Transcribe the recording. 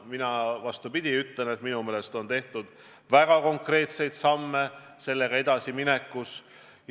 Mina, vastupidi, ütlen, et minu meelest on tehtud väga konkreetseid samme sellega edasiminekus.